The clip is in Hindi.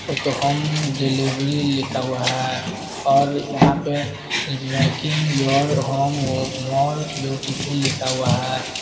उसे पे होम डिलीवरी लिखा हुआ है और यहां पे making your home more beautiful लिखा हुआ है।